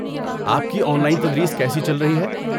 آپ کی online تدریس کیسی چل رہی ہے؟